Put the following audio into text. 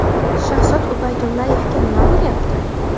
Shahzod Ubaydullayevga nima bo‘lyapti?